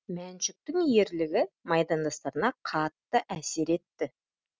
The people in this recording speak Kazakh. мәншүктің ерлігі майдандастарына қатты әсер етті